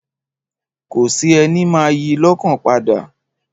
Kò sí ẹni máa yi lọ́kàn padà.